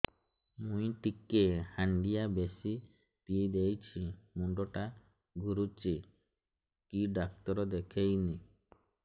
ମୁଇ ଟିକେ ହାଣ୍ଡିଆ ବେଶି ପିଇ ଦେଇଛି ମୁଣ୍ଡ ଟା ଘୁରୁଚି କି ଡାକ୍ତର ଦେଖେଇମି